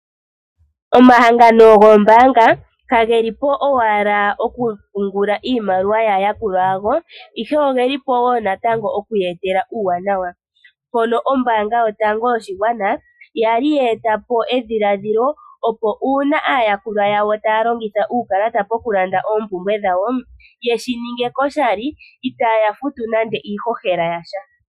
Omahangano goombaanga kagelipo owala okupungula iimaliwa yaa yakulwa yago ihe ogelipo woo natango oku ye etela uuwanawa ,mpono ombaanga yotango yopashigwana yali ye etapo edhiladhilo opo uuna aayakulwa yawo taya longitha uukalata pokulanda oompumbwe dhawo yeshininge koshali ita ya futu nande iihohela yasha.